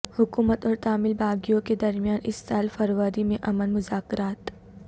حکومت اور تامل باغیوں کے درمیان اس سال فروری میں امن مذاکرات